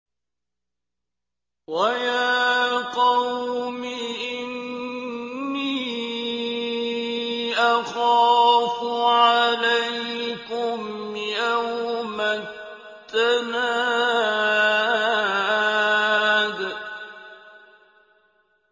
وَيَا قَوْمِ إِنِّي أَخَافُ عَلَيْكُمْ يَوْمَ التَّنَادِ